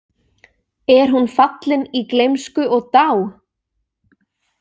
Er hún fallin í gleymsku og dá?